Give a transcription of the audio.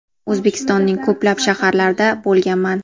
O‘zbekistonning ko‘plab shaharlarida bo‘lganman.